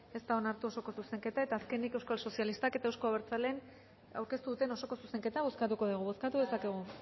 ez da onartu osoko zuzenketa azkenik euskal sozialistak eta euzko abertzaleek aurkeztu duten osoko zuzenketa bozkatuko dugu bozkatu dezakegu